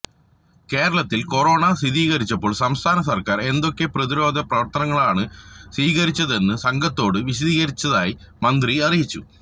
കേരളത്തിൽ കൊറോണ സ്ഥിരീകരിച്ചപ്പോൾ സംസ്ഥാന സർക്കാർ എന്തൊക്കെ പ്രതിരോധ പ്രവർത്തനങ്ങളാണ് സ്വീകരിച്ചതെന്ന് സംഘത്തോട് വിശദീകരിച്ചതായി മന്ത്രി അറിയിച്ചു